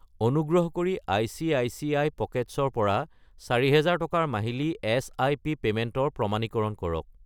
অনুগ্ৰহ কৰি ICICI. Pockets ৰ পৰা 4000 টকাৰ মাহিলী এছআইপি পে'মেণ্টৰ প্ৰমাণীকৰণ কৰক।